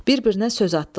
Bir-birinə söz atdılar.